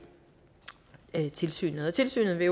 tilsynet tilsynet vil